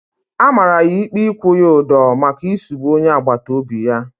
A mara ya ikpe ikwu ya udo maka isugbu onye agbata obi ya